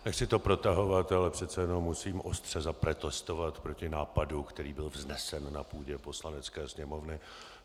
Nechci to protahovat, ale přece jenom musím ostře zaprotestovat proti nápadu, který byl vznesen na půdě Poslanecké sněmovny.